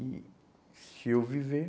E se eu viver...